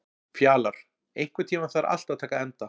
Fjalar, einhvern tímann þarf allt að taka enda.